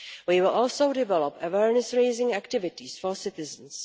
We will also develop awareness raising activities for citizens.